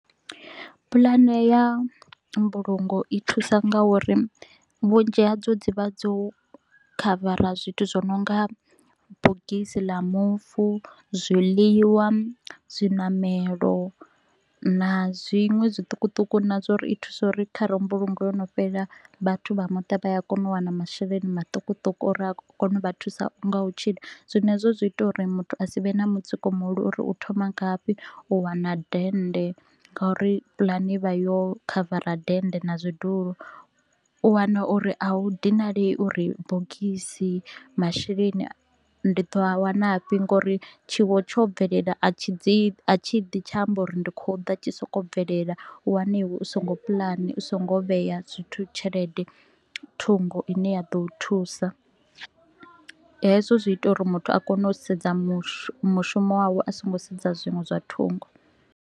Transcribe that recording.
Pulane ya mbulungo i thusa nga uri vhunzhi hadzo dzi vha dzo khavara zwithu zwi no nga bogisi la mufu, zwiḽiwa, zwiṋamelo na zwiṅwe zwiṱukuṱuku na zwa uri i thusa uri kha re mbulungo yo no fhela, vhathu vha muṱa vha a kona u wana masheleni maṱukuṱuku uri a kone u vha thusa nga u tshila. Zwino hezwo zwi ita uri muthu a si vhe na mutsiko muhulu uri u thoma ngafhi u wana dennde ngauri pulani i vha yo khavara dennde na zwidulo. U wana uri a u dinalei uri bogisi, masheleni ndi ḓo a wanafhi nga uri tshiwo tsho bvelela a tshi ḓi tsha amba uri ndi kho u ḓa tshi sokou bvelela. U wana iwe u so ngo pulana, u so ngo vhea zwithu tshelede thungo ine ya ḓo u thusa, hezwo zwi ita uri muthu a kone u sedza mushumo mushumo wawe a so ngo sedza zwiṅwe zwa thungo